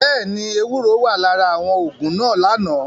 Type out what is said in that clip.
Bẹẹni, ewuro wa lara awọn oogun naa lana.